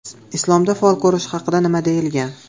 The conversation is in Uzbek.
Islomda fol ko‘rish haqida nima deyilgan?.